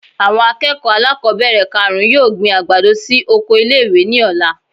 Awon akeko alákobere karún-un yoo gbin agbado si oko ile-iwe ní ola.